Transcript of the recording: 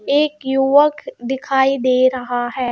एक युवक दिखाई दे रहा है.